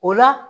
O la